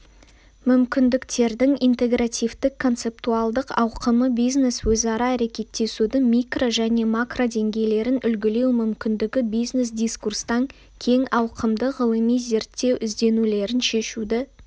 мүмкіндіктердің интегративтік-концептуалдық ауқымы бизнес-өзара әрекеттесудің микро және макродеңгейлерін үлгілеу мүмкіндігі бизнес-дискурстан кең ауқымды ғылыми-зерттеу ізденулерін шешуді